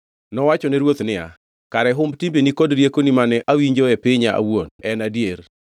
Nowachone ruoth niya, “Kare humb timbeni kod riekoni mane awinjo e pinya awuon en adier.